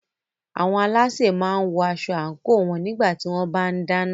Àwọn alásè máa ń wọ aṣọ àńkò wọn nígbà tí wọ́n bá ń dáná.